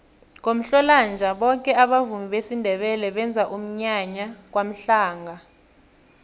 ngomhlolanja boke abavumi besindebele benza umnyanya kwamhlanga